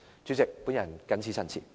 主席，我謹此陳辭。